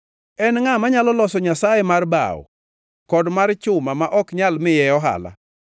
En ngʼa manyalo loso nyasaye mar bao kod mar chuma ma ok nyal miye ohala?